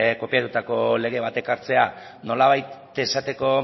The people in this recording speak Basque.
kopiatutako lege bat ekartzea nolabait esateko